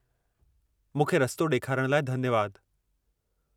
मूंखे रस्तो ॾेखारण लाइ धन्यवाद।